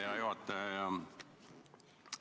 Hea juhataja!